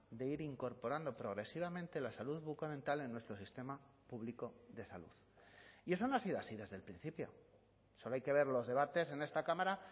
de ir incorporando progresivamente la salud bucodental en nuestro sistema público de salud y eso no ha sido así desde el principio solo hay que ver los debates en esta cámara